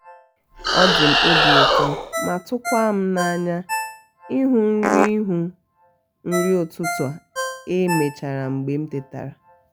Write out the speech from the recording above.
ọdim obi ụtọ ma tukwam na-anya ịhụ nri ịhụ nri utụtụ e mechara mgbe m tetara